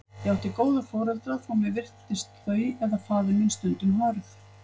Ég átti góða foreldra, þótt mér virtist þau eða faðir minn stundum hörð.